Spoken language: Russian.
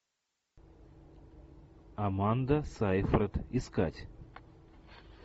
аманда сайфред искать